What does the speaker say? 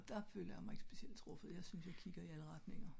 der føler jeg mig ikke bestemt truffet jeg synes jeg kigger i alle retninger